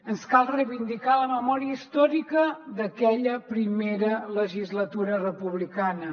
ens cal reivindicar la memòria històrica d’aquella primera legislatura republicana